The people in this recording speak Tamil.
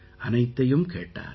அனைத்தையும் கேட்டார்